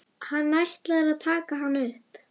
Hann ætlar að taka hana upp.